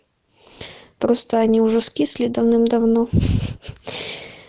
просто они уже скисли давным-давно